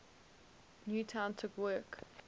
newton took work